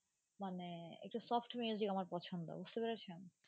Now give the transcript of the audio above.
মানে একটু soft music আমার পছন্দ বুঝতে পেরেছেন